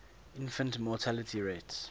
infant mortality rates